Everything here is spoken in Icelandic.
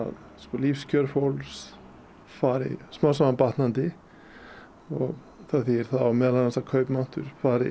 lífskjör fólks fari smám saman batnandi og það þýðir meðal annars að kaupmáttur fari